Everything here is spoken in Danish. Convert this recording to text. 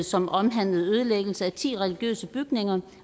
som omhandlede ødelæggelse af ti religiøse bygninger